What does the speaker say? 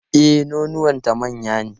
E, nonuwanta manya ne.